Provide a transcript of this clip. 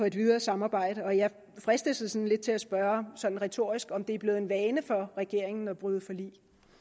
et videre samarbejde og jeg fristes lidt til at spørge sådan retorisk om det er blevet en vane for regeringen at bryde forlig